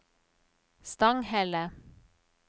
Stanghelle